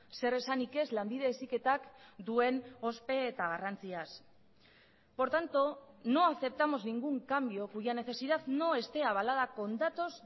zer esanik ez lanbide heziketak duen ospe eta garrantziaz por tanto no aceptamos ningún cambio cuya necesidad no esté avalada con datos